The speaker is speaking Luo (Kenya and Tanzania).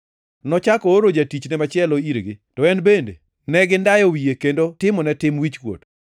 Nochako ooro jatichne machielo irgi, to en bende ne gindayo wiye kendo timone tim wichkuot.